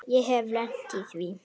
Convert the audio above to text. Ég hef lent í því.